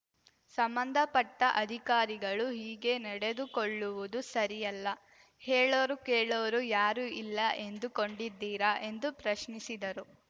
ಸಂಬಂಧಪಟ್ಟಅಧಿಕಾರಿಗಳು ಹೀಗೆ ನಡೆದುಕೊಳ್ಳುವುದು ಸರಿಯಲ್ಲ ಹೇಳೋರೂ ಕೇಳೋರೂ ಯಾರೂ ಇಲ್ಲ ಎಂದುಕೊಂಡಿದ್ದೀರಾ ಎಂದು ಪ್ರಶ್ನಿಸಿದರು